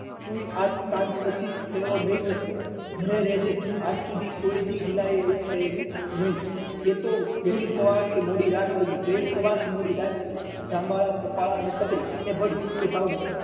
તું પણ આ સાંજ પછી ફેરો નહી કરતો ઘરે રહેજે આજ સુધી ગિલા ને ન થયેલું નહી એ તો વહેલી સવાર થી મોડી રાત સુધી વહેલી સવાર કે મોડી રાત લાગી થાંભલા ખોમ્ભ્લી અને તગડી ભરી ને ભાવનગર